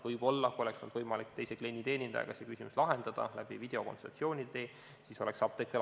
Võib-olla, kui oleks olnud võimalik teise klienditeenindajaga see küsimus lahendada läbi videokonsultatsiooni, siis oleks apteek veel alles.